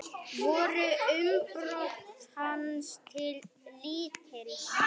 Voru umbrot hans til lítils.